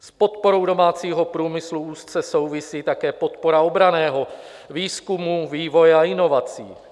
S podporou domácího průmyslu úzce souvisí také podpora obranného výzkumu, vývoje a inovací.